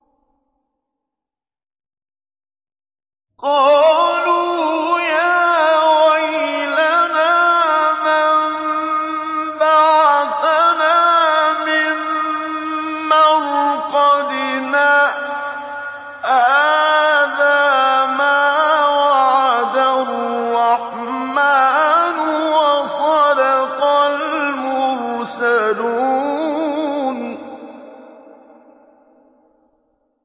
قَالُوا يَا وَيْلَنَا مَن بَعَثَنَا مِن مَّرْقَدِنَا ۜۗ هَٰذَا مَا وَعَدَ الرَّحْمَٰنُ وَصَدَقَ الْمُرْسَلُونَ